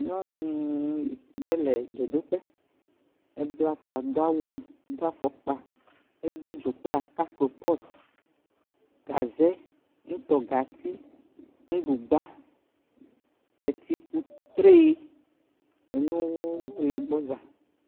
Nyɔnu ɖe le dzodoƒe, bla ta, doa wu, do afɔkpa, do dzo kple aka kopɔti gaze nutɔgati nuɖugba etsikutre enuneo le gbɔ za.